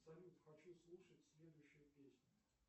салют хочу слушать следующую песню